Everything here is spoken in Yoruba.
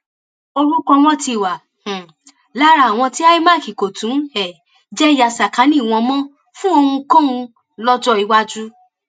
orúkọ wọn ti wà um lára àwọn tí imac kò tún um jẹ ya sàkáání wọn mọ fún ohunkóhun lọjọ iwájú